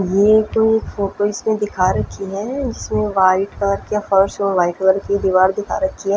ये दो परपल्स में दिखा रखी है इसमें वाइट कलर का फ़र्श और वाइट कलर की दिवार दिखा रखी है।